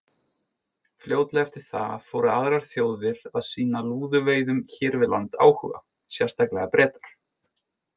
Fljótlega eftir það fóru aðrar þjóðir að sýna lúðuveiðum hér við land áhuga, sérstaklega Bretar.